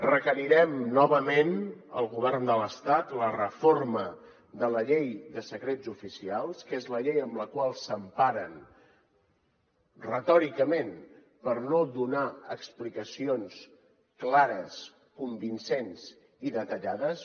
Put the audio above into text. requerirem novament al govern de l’estat la reforma de la llei de secrets oficials que és la llei en la qual s’emparen retòricament per no donar explicacions clares convincents i detallades